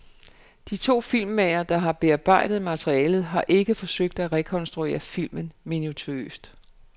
De to filmmagere, der har bearbejdet materialet, har ikke forsøgt at rekonstruere filmen minutiøst.